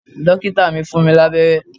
Dókítà mi fún mi lábẹ́rẹ́